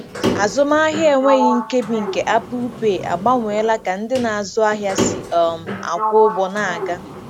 Azụmahịa enweghị nkebi nke Apple Pay agbanweela ka ndị na-azụ ahịa si um akwụ ụgwọ na-aga.